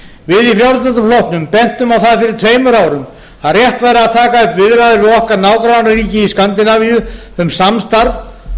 við í frjálslynda flokknum bentum á það fyrir tveimur árum að rétt væri að taka upp viðræður við okkar nágrannaríki í skandinavíu um samstarf